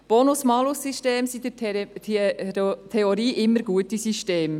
Bonus-Malus-Systeme sind in der Theorie immer gute Systeme.